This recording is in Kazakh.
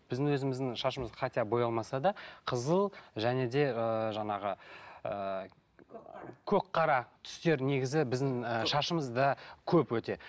біздің өзіміздің шашымыз хотя боялмаса да қызыл және де ыыы жаңағы ыыы көкқара түстер негізі біздің ы шашымызда көп өте